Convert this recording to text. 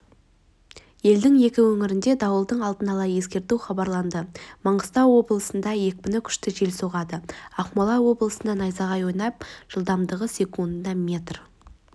елдің екі өңіріне дауылды алдын ала ескерту хабарланды маңғыстау облысында екпіні күшті жел соғады ақмола облысында найзағай ойнап жылдамдығы секундына метр